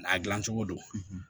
A dilancogo don